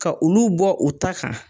Ka olu bɔ u ta kan.